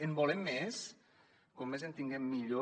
en volem més com més en tinguem millor